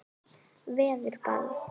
Verður ball?